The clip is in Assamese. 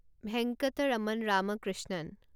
ভেংকটৰামন ৰামকৃষ্ণণ